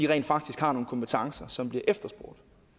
rent faktisk har nogle kompetencer som bliver efterspurgt